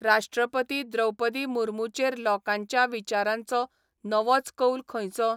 राष्ट्रपती द्रौपदी मुर्मूचेर लोकांच्या विचारांचो नवोच कौल खंयचो ?